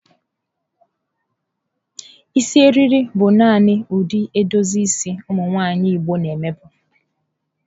Isi eriri bụ nani ụdị edozi isi ụmụ nwanyị igbo na eme bụ.